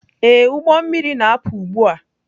Ee, ụgbọ mmiri na-apụ ugbu a.